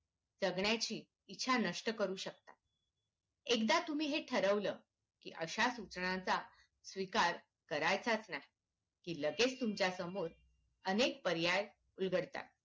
जगण्याची इच्छा नष्ट करू शकत एकदा तुम्ही हे ठरवलं कि अशा सूचनांचा स्वीकार करायचाच नाही कि लगेच तुमच्या समोर अनेक पर्याय उघडतात